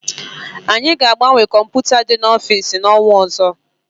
Anyị ga agbanwe kọmputa dị n'ofisi na-onwa ọzọ